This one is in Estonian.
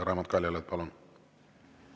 Raimond Kaljulaid, palun!